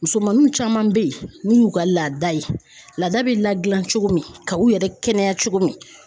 Musomaninw caman be yen n'u y'u ka laada ye laada be ladilan cogo min ka u yɛrɛ kɛnɛya cogo min